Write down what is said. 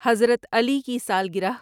حضرت علیؓ کی سالگرہ